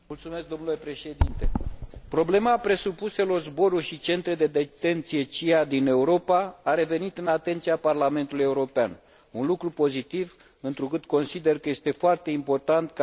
Problema presupuselor zboruri și centre de detenție CIA din Europa a revenit în atenția Parlamentului European, un lucru pozitiv, întrucât consider că este foarte important ca adevărul să iasă la iveală.